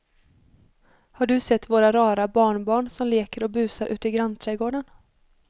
Har du sett våra rara barnbarn som leker och busar ute i grannträdgården!